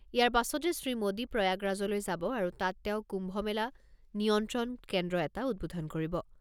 ইয়াৰ পাছতে শ্ৰীমোদী প্ৰয়াগৰাজলৈ যাব আৰু তাত তেওঁ কুম্ভ মেলা নিয়ন্ত্ৰণ কেন্দ্ৰ এটা উদ্বোধন কৰিব।